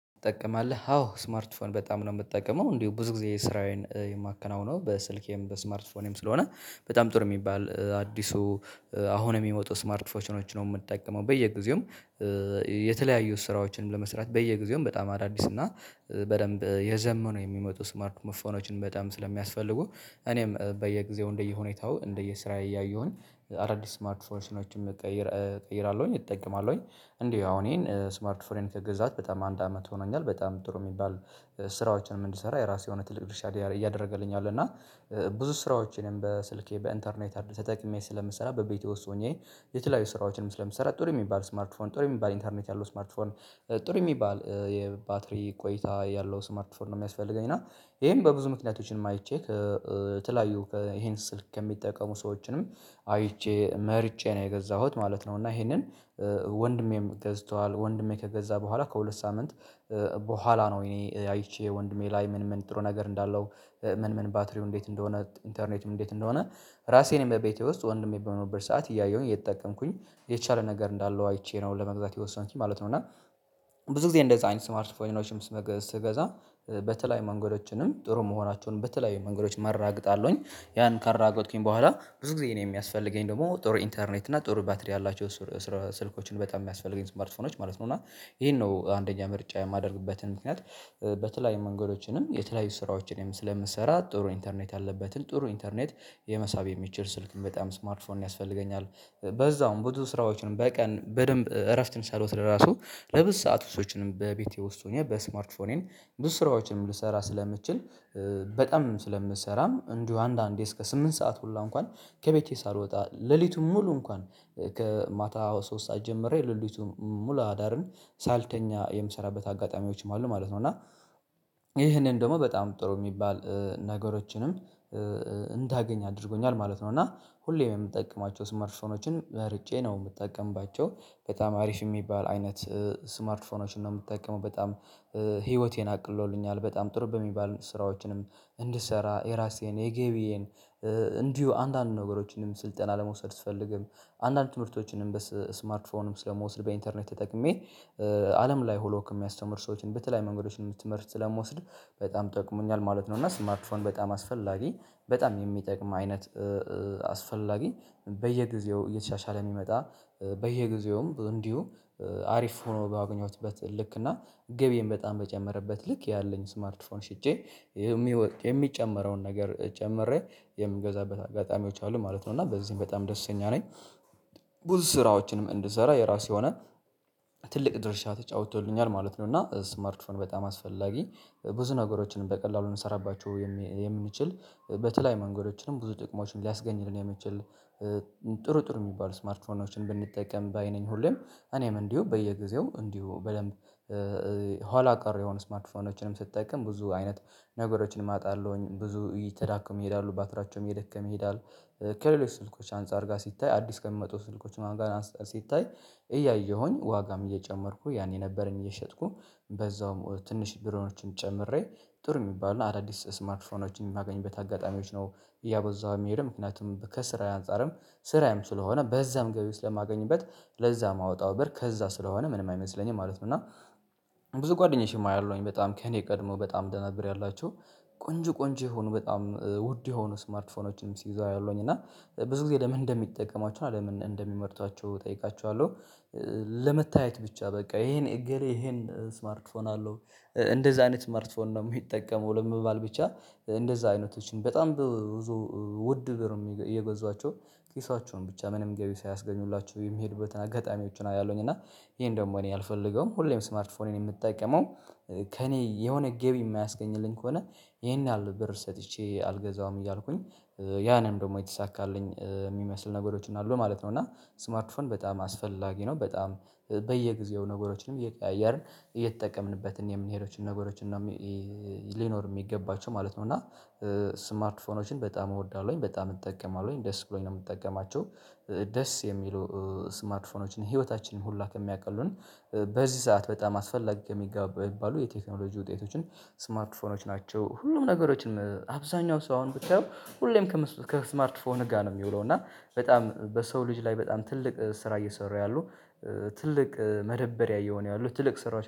ትጠቀማለህ አዎ ስማርትፎን በጣም ነው የምትጠቀመው እንዲሁ ብዙ ጊዜ ስራዬን የማከናውነው በስልኬም በስማርትፎኔም ስለሆነ በጣም ጥሩ የሚባል አዲሱ አሁን የሚመጡ ስማርት ፎችኖችን ነው የምጠቀመው። በየጊዜውም የተለያዩ ስራዎችን ለመስራት በየጊዜውም በጣም አዳዲስ እና በደንብ እየዘመኑ የሚመጡ ስማርትፎኖችን በጣም ስለሚያስፈልጉ እኔም በየጊዜው እንደየሁኔታው እንደየስራዬ እያየሁኝ አዳዲስ ስማርት ፎርሽኖችም ቀይር ቀይራለሁኝ እጠቀማለሁኝ። እንዲህ አሁን ይሄን ስማርት ፎኔን ከገዛሁት በጣም አንድ አመት ሆኖኛል በጣም ጥሩ የሚባል ስራዎችንም እንድሰራ የራሱ የሆነ ትልቅ ድርሻ እያደረገልኝ አለ። እና ብዙ ስራዎቼንም በስልኬ በኢንተርኔት አድ ተጠቅሜ ስለምሰራ በቤቴ ውስጥ ሆኜ የተለያዩ ስራዎችንም ስለምሰራ ጥሩ የሚባል ስማርትፎን ጥሩ የሚባል ኢንተርኔት ያለው ስማርትፎን ጥሩ የሚባል የባትሪ ቆይታ ያለው ስማርት ፎን ነው የሚያስፈልገኝ። እና ይሄን በብዙ ምክንያቶችን አይቼ ትላዩ ይሄን ስልክ ከሚጠቀሙ ሰዎችንም አይቼ መርጬ ነው የገዛሁት ማለት ነው። እና ይሄንን ወንድሜም ገዝቷል ወንድሜ ከገዛ በኋላ ከሁለት ሳምንት በኋላ ነው እኔ አይቼ ወንድሜ ላይ ምን ምን ጥሩ ነገር እንዳለው ምን ምን ባትሪው እንዴት እንደሆነ ኢንተርኔትም እንዴት እንደሆነ ራሴን በቤቴ ውስጥ ወንድሜ በመኖርበት ሰዓት እያየሁኝ እየተጠቀምኩኝ የቻለ ነገር እንዳለው አይቼ ነው ለመግዛት የወሰንኩኝ ማለት ነው። እና ብዙ ጊዜ እንደዛ አይነት ስማርት ፎኖችም ስገዛ በተለይ መንገዶችንም ጥሩ መሆናቸውንም በተለያየ መንገዶች አረጋግጣለሁኝ ያን ካረጋግጥኩኝ በኋላ ብዙ ጊዜ እኔ የሚያስፈልገኝ ደግሞ ጥሩ ኢንተርኔት እና ጥሩ ባትሪ ያላቸው ስልኮችን በጣም የሚያስፈልገኝ ስማርትፎኖች ማለት ነው። እና ይሄን ነው አንደኛ ምርጫ የማደርግበትን ምክንያት በተለያዩ መንገዶችንም የተለያዩ ስራዎችን ስለምሰራ ጥሩ ኢንተርኔት አለበትን ጥሩ ኢንተርኔት የመሳብ የሚችል ስልክን በጣም ስማርት ፎን ያስፈልገኛል። በዛውም ብዙ ስራዎችንም በቀን በደንብ እረፍትን ሳሎት ለራሱ ለብዙ ሰዓት ውሶችንም በቤቴ ውስጥ ሆኜ በስማርት ፎኔም ብዙ ስራዎችን ልሰራ ስለምችል በጣም ስለምሰራም እንዲሁ አንዳንዴ እስከ ስምንት ሰዓት ሁሉ እንኳን ከቤቴ ሳልወጣ ሌሊቱን ሙሉ እንኳን ከማታ ሶስት ሰዓት ጀምሬ ሌሊቱን ሙሉ አዳርን ሳልተኛ የምሰራበት አጋጣሚዎችም አሉ ማለት ነው። እና ነው እና ይሄንን ደግሞ በጣም ጥሩ የሚባል ነገሮችንም እንዳገኝ አድርጎኛል ማለት ነው። እና ሁሌም የምጠቅማቸው ስማርትፎኖችን መርጬ ነው የምትጠቀምባቸው በጣም አሪፍ የሚባል አይነት ስማርት ፎኖችን ነው የምጠቀመው። በጣም ህይወቴን አቅሎልኛል በጣም ጥሩ በሚባል ስራዎችንም እንድሰራ የራሴን የገቢዬን እንዲሁ አንዳንድ ነገሮችንም ስልጠና ለመውሰድ ስፈልግም አንዳንድ ትምህርቶችንም በስማርትፎንም ስለምወስድ በኢንተርኔት ተጠቅሜ አለም ላይ ሁሉ ከሚያስተምር ሰዎችን በተለይ መንገዶችን የትምህርት ስለምወስድ በጣም ጠቅሞኛል ማለት ነው። እና ስማርትፎን በጣም አስፈላጊ በጣም የሚጠቅም አይነት አስፈላጊ በየጊዜው እየተሻሻለ የሚመጣ በየጊዜውም እንዲሁ አሪፍ ሆኖ ባገኘሁትበት ልክ እና ገቢም በጣም በጨመረበት ልክ ያለኝ ስማርትፎን ሽጬ የሚጨመረውን ነገር ጨምሬ የምገዛበት አጋጣሚዎች አሉ ማለት ነው። እና በዚህም በጣም ደስተኛ ነኝ። ብዙ ስራዎችንም እንድሰራ የራሴ ሆነ ትልቅ ድርሻ ተጫውቶልኛል ማለት ነው። እና ስማርትፎን በጣም አስፈላጊ ብዙ ነገሮችን በቀላሉ እንሰራባቸው የምንችል በተለያየ መንገዶችንም ብዙ ጥቅሞችን ሊያስገኝ የሚችል ጥሩ ጥሩ የሚባል ስማርትፎኖችን ብንጠይቀም ባይ ነኝ። ሁሌም እኔም እንዲሁ በየጊዜው እንዲሁ በደንብ ኋላ ቀር የሆኑ ስማርትፎኖችንም ስጠቀም ብዙ አይነት ነገሮችን አጣለሁኝ ብዙ እየተዳከሙ ይሄዳሉ ባትራቸውም እየደከመ ይሄዳል። ከሌሎች ስልኮች አንፃር ጋር ሲታይ አዲስ ከሚመጡ ስልኮች ማን ጋር ሲታይ እያየሁኝ ዋጋም እየጨመርኩ ያኔ ነበርን እየሸጥኩ በዛውም ትንሽ ቢሮችን ጨምሬ ጥሩ የሚባለው አዳዲስ ስማርትፎኖችን የማገኝበት አጋጣሚዎች ነው እያበዛው የሚሄዱ ምክንያቱም ከስራ አንፃርም ስራም ስለሆነ በዛም ገቢ ውስጥ ለማገኝበት ለዛ ማውጣት ብር ከዛ ስለሆነ ምንም አይመስለኝም ማለት ነው። እና ብዙ ጓደኞቼንም አያለሁኝ በጣም ከእኔ ቀድሞ በጣም ደና ብር ያላቸው ቆንጆ ቆንጆ የሆኑ በጣም ውድ የሆኑ ስማርት ፎኖችን ሲይዙ አያለሁኝ እና ብዙ ጊዜ ለምን እንደሚጠቀሟቸው እና ለምን እንደሚመርጧቸው እጠይቃቸዋለሁ። ለመታየት ብቻ በቃ ይሄን እገሌ ይሄን ስማርት ፎን አለው። እንደዛ አይነት ስማርት ፎን ነው የሚጠቀመው ለመባል ብቻ። እንደዛ አይነቶችን በጣም ብዙ ውድ ብር እም እየገዟቸው ኪሳቸውን ብቻ ምንም ገቢ ሳያስገኙላችሁ የሚሄዱበትን አጋጣሚዎችን አያለሁኝ። እና ይሄን ደግሞ እኔ አልፈልገውም ሁሌም ስማርት ፎኔን የምጠቀመው። ከእኔ የሆነ ገቢ የማያስገኝልኝ ከሆነ ይሄን ያህል ብር ሰጥቼ አልገዛሁም እያልኩኝ። ያ ነው ደግሞ የተሳካልኝ የሚመስል ነገሮችን አሉ ማለት ነው። እና ስማርት ፎን በጣም አስፈላጊ ነው። በጣም በየጊዜው ነገሮችንም እየቀያየርን እየተጠቀምንበት የምንሄደው ነገሮች እና ሊኖር የሚገባቸው ማለት ነው። እና ስማርት ፎኖችን በጣም እወዳለሁኝ በጣም እጠቀማለሁኝ ደስ ብሎኝ ነው የምትጠቀማቸው። ደስ የሚሉ ስማርት ፎኖችን ህይወታችንን ሁሉ ከሚያቀሉልን በዚህ ሰዓት በጣም አስፈላጊ ከሚገቡ ሚባሉ የቴክኖሎጂ ውጤቶችን ስማርት ፎኖች ናቸው። ሁሉም ነገሮችንም አብዛኛው ሰው አሁን ብታዩ ሁሌም ከስማርት ፎን ጋ ነው የሚውለው። እና በጣም በሰው ልጅ ላይ በጣም ትልቅ ስራ እየሰሩ ያሉ ትልቅ መደበሪያ እየሆኑ ያሉ ትልቅ ስራዎች